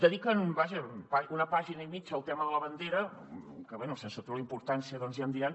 dediquen vaja una pàgina i mitja al tema de la bandera que bé sense treure li importància doncs ja em diran